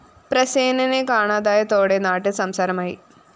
പ്രസേനനെ കാണാതായതോടെ നാട്ടില്‍ സംസാരമായി